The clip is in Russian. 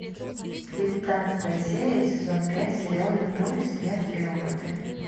девятнадцатая серия сезон пять сериал любовь смерть и роботы